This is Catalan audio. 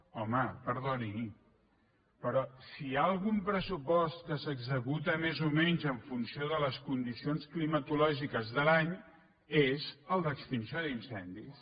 home perdoni però si hi ha algun pressupost que s’executa més o menys en funció de les condicions climatològiques de l’any és el d’extinció d’incendis